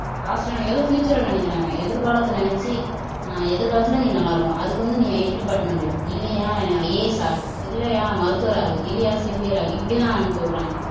பாஸ்ட்டா நினைக்கிறது future ல நினைக்கிறாங்க எதிர்காலத்தை நினைச்சு ஆஹ் எதிர்காலத்துல நீ நல்லா இருக்கணும் அதுக்கு வந்து நீ IT டிபார்ட்மென்ட் எடு இல்லையா IAS ஆகு இல்லையா மருத்துவர் ஆகுது இல்லையா செவிலியர் ஆகுது இப்படித்தான் அனுப்பி விடுறாங்க